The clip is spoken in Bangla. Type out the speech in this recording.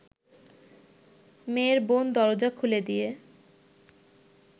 মেয়ের বোন দরজা খুলে দিয়ে